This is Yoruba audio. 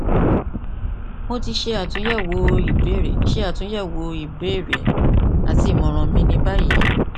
mo ti ṣe atunyẹwo ibeere ṣe atunyẹwo ibeere rẹ ati imọran mi ni bayi